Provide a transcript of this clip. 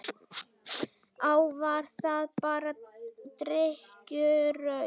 Á, var það bara drykkjuraus?